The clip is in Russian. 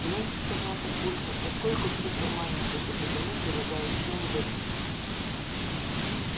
ну сказал папулька поскольку все формальности соблюдены предлагаю всем выпить